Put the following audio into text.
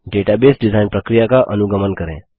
database design प्रक्रिया का अनुगमन करें